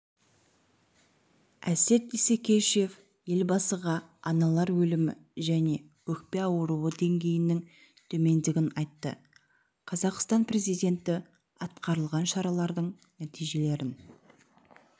әсет исекешев елбасыға аналар өлімі және өкпе ауруы деңгейінің төмендегенін айтты қазақстан президенті атқарылған шаралардың нәтижелерін